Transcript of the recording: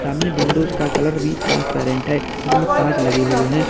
सामने विंडोज का कलर भी ट्रांस पैरेंट है इनमें कांच लगे हुए है।